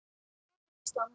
Svona er Ísland.